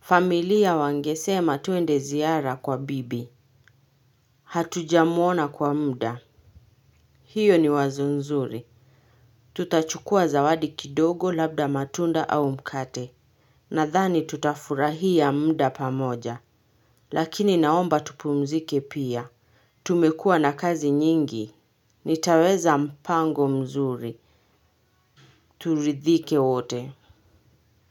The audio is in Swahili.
Familia wangesema tuende ziara kwa bibi. Hatujamuona kwa muda. Hiyo ni wazo nzuri. Tutachukua zawadi kidogo, labda matunda au mkate. Nadhani tutafurahia muda pamoja, lakini naomba tupumzike pia. Tumekua na kazi nyingi, nitaweza mpango mzuri, turidhike wote.